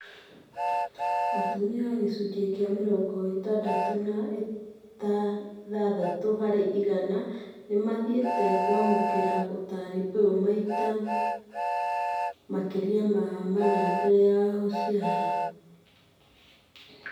Atumia gĩcunjĩ kĩa mĩrongo ĩtandatũ na ithathatu harĩ igana nĩmathiĩte kũamũkĩra ũtari ũyũ maita makĩria ma mana mbele ya gũciara